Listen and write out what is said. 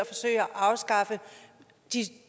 afskaffe de